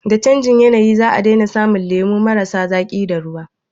Da canjin yanayi za a daina samun lemu marasa zaƙi da ruwa